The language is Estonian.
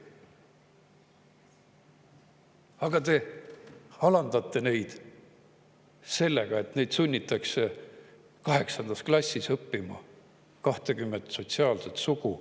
Aga te alandate neid sellega, et sunnite neid kaheksandas klassis õppima 20 sotsiaalset sugu.